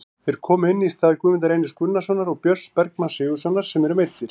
Þeir komu inn í stað Guðmundar Reynis Gunnarssonar og Björns Bergmanns Sigurðarsonar sem eru meiddir.